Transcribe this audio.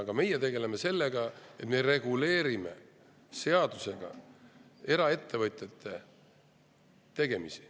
Aga meie tegeleme sellega, et reguleerime seadusega eraettevõtjate tegemisi.